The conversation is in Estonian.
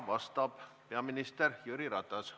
Vastab peaminister Jüri Ratas.